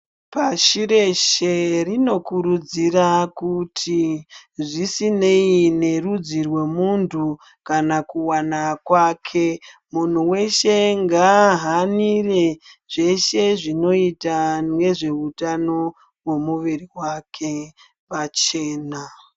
Pashi reshe rinokurudzira kuti zvisinei nerudzi rwemuntu kana kuvana kwake. Muntu veshe ngaahanire zveshe zvinota nezvehutano vemuviri vake pachena.